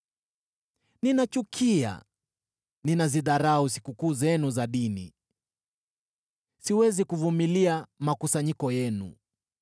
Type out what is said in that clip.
“Ninachukia, ninazidharau sikukuu zenu za dini; siwezi kuvumilia makusanyiko yenu.